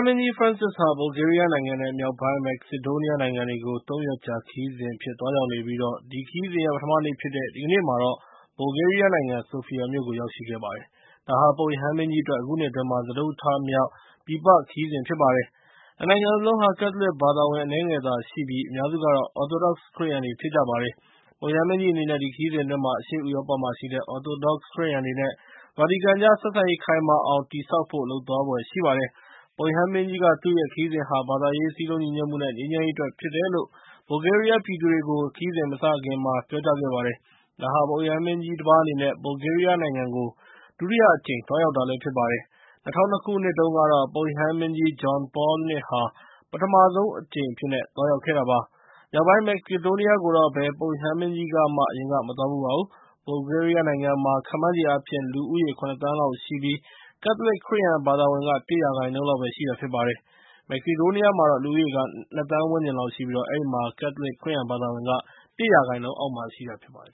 မင်းကြီး ဖရန့်စစ်ဟာ ဘူလ်ဂေးရီးယားနိုင်ငံ နဲ့ မြောက်ပိုင်း မက်ဆီဒိုနီးယားနိုင်ငံတွေကို ၃ ရက်ကြာ ခရီးအဖြစ် သွားရောက်နေပြီး၊ အဲဒီခရီးစဉ်ရဲ့ ပထမနေ့ဖြစ်တဲ့ ဒီကနေ့မှာတော့ ဘူလ်ဂေးရီးယားနိုင်ငံ ဆိုဖီယာမြို့ကို ရောက်ရှိခဲ့ပါတယ်။ ဒါဟာ ပုပ်ရဟန်းမင်းကြီးအတွက် အခုနှစ်အတွင်း စတုတ္တအကြိမ်မြောက် ပြည်ပခရီးစဉ်ဖြစ်ပါတယ်။ ၂ နိုင်ငံစလုံးဟာ ကက်သလစ်ဘာသာဝင် အနည်းငယ်သာရှိကြပြီး ၊ အများစုကတော့ Orthodox ခရစ်ယာန်တွေ ဖြစ်ကြပါတယ်။ ပုပ်ရဟန်းမင်းကြီးအနေနဲ့ ဒီခရီးစဉ်အတွင်း အရှေ့ဥရောပမှာရှိတဲ့ Orthodox ခရစ်ယာန်တွေ နဲ့ ဗာတီကန်ကြား ဆက်ဆံရေးခိုင်မာအောင် တည်ဆောက်ဖို့ လုပ်ဆောင်သွားဖွယ်ရှိပါတယ်။ ပုပ်ရဟန်းမင်းကြီးက သူ့ရဲ့ခရီးစဉ်ဟာ ဘာသာရေး၊ စည်းလုံးညီညွတ်မှု နဲ့ ငြိမ်းချမ်းရေးအတွက် ဖြစ်တယ်လို့ ဘူလ်ဂေးရီးယားပြည်သူတွေကို ခရီးစဉ်မစခင်မှာ ပြောကြားခဲ့ပါတယ်။ ဒါဟာ ပုပ်ရဟန်းမင်းကြီး တပါးအနေနဲ့ ဘူလ်ဂေးရီးယားနိုင်ငံကို ဒုတိယအကြိမ် သွားရောက်တာဖြစ်ပါတယ်။ ၂၀၀၂ ခုနှစ်တုန်းကတော့ ပုပ်ရဟန်းမင်းကြီး John Paul II ဟာ ပထမဆုံးအကြိမ် အဖြစ်သွားရောက်ခဲ့တာပါ။ မြောက်ပိုင်း မက်ဆီဒိုနီးယားကိုတော့ ဘယ် ပုပ်ရဟန်းမင်းကြီးမှ အရင်က မသွားဖူးပါဘူး။ ဘူလ်ဂေးရီးယားနိုင်ငံမှာ ခန့်မှန်းချေအားဖြင့် လူဦးရေး ၇ သန်းလောက်ရှိပြီး ကက်သလစ်ခရစ်ယာန်ဘာသာဝင်က ၁ % လောက်ပဲရှိတာဖြစ်ပါတယ်။ မက်ဆီဒိုးနီးယားနိုင်ငံကတော့ လူဦးရေ ၂ သန်း ဝန်းကျင်လောက်ရှိပြီး၊ အဲဒီမှာတော့ ကက်သလစ်ခရစ်ယာန်ဘာသာဝင်က ၁ % အောက်မှာရှိတာဖြစ်ပါတယ်